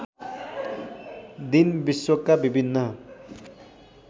दिन विश्वका विभिन्न